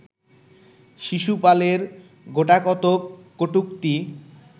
শিশুপালের গোটাকতক কটূক্তি